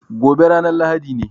Gobe ne ranar Lahadi.